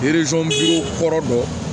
kɔrɔ dɔn